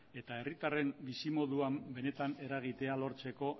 eta herritarren bizimoduan benetan eragitea lortzeko